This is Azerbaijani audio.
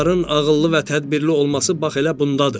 Hökmdarın ağıllı və tədbirli olması bax elə bundadır.